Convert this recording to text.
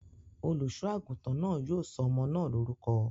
Olùṣọ́-àgùntàn náà yóò sọ ọmọ náà lórúkọ.